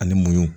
Ani mɔ